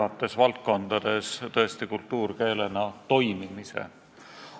Olen sügavalt veendunud, et eesti kultuuri ei ole võimalik arendada ilma eesti keelt arendamata – need kaks käivad kokku.